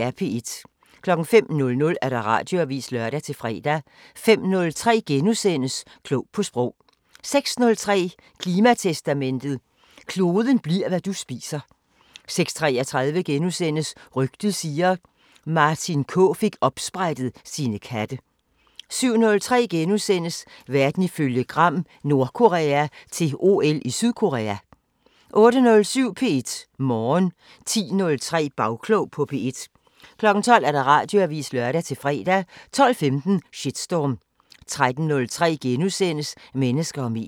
05:00: Radioavisen (lør-fre) 05:03: Klog på sprog * 06:03: Klimatestamentet: Kloden bliver, hvad du spiser 06:33: Rygtet siger... Martin K fik opsprættet sine katte * 07:03: Verden ifølge Gram: Nordkorea til OL i Sydkorea * 08:07: P1 Morgen 10:03: Bagklog på P1 12:00: Radioavisen (lør-fre) 12:15: Shitstorm 13:03: Mennesker og medier *